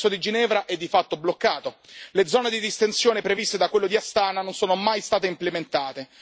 Il processo di Ginevra è di fatto bloccato, le zone di distensione previste da quello di Astana non sono mai state implementate.